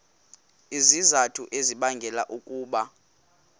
izizathu ezibangela ukuba